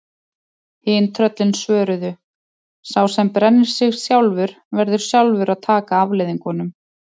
Hin tröllin svöruðu: Sá sem brennir sig sjálfur, verður sjálfur að taka afleiðingunum